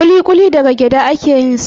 Kuli-kuli daga gyada a ke yin sa